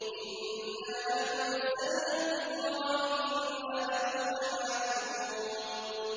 إِنَّا نَحْنُ نَزَّلْنَا الذِّكْرَ وَإِنَّا لَهُ لَحَافِظُونَ